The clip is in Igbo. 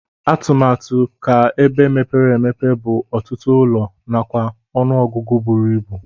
Atụmatu ka ebe mepere emepe bu ọtụtụ ụlọ nakwa ọnụ ọgụgụ buru ibụ.